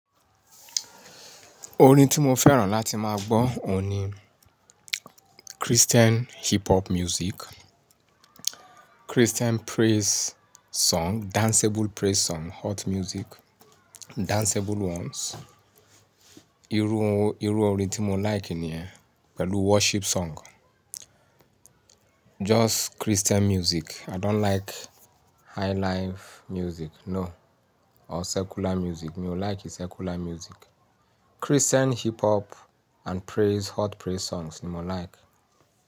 Orin tí mo fẹ́ràn láti máa gbọ́ oun ni, Christian hip hop music, Christian praise song, danceable praise song, hot music, danceable ones. Irú orin tí mo like nìyẹn pẹ̀lú worship song. Just Christian music. I don't like highlife music, no or secular music. Mi ò like secular music. Christian hip hop and praise, hot praise songs ni mo like.